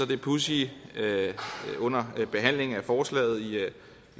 det pudsige under behandlingen af forslaget i